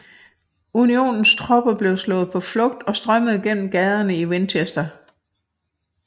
Unionens tropper blev slået på flugt og strømmede gennem gaderne i Winchester